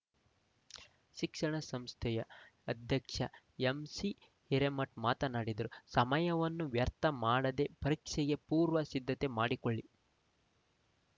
ಶಿಕ್ಷಣ ಸಂಸ್ಥೆಯ ಅಧ್ಯಕ್ಷ ಎಂಸಿ ಹಿರೇಮಠ ಮಾತನಾಡಿದರು ಸಮಯವನ್ನು ವ್ಯರ್ಥ ಮಾಡದೆ ಪರೀಕ್ಷೆಗೆ ಪೂರ್ವ ಸಿದ್ದತೆ ಮಾಡಿಕೊಳ್ಳಿ